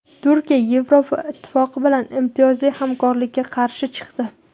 Turkiya Yevroittifoq bilan imtiyozli hamkorlikka qarshi chiqdi.